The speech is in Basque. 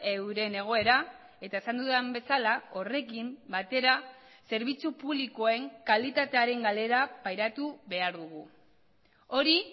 euren egoera eta esan dudan bezala horrekin batera zerbitzu publikoen kalitatearen galera pairatu behar dugu hori